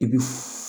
I bi